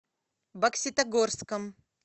бокситогорском